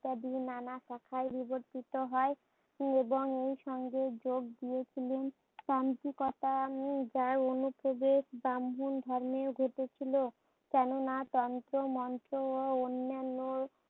নানা কোথায় বিবর্তিত হয় এবং এই সঙ্গীত যোগবিয়োগ গুলির দাম্ভিকতা যার অনুপ্রবেশ ব্রাহ্মণ ধর্মে ঘটেছিল। কেননা তন্ত্রমন্ত্র ও অন্যান্য